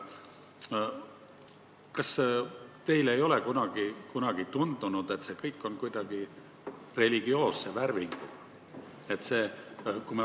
Kas teile ei ole kunagi tundunud, et see kõik on kuidagi religioosse värvinguga?